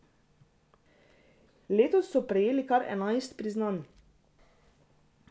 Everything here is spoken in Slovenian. Letos so prejeli kar enajst priznanj.